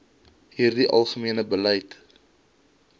hierdie algemene beleid